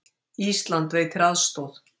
Ísland veitir aðstoð